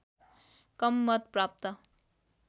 कम मत प्राप्त